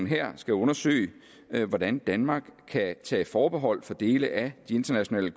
her skal undersøge hvordan danmark kan tage forbehold for dele af de internationale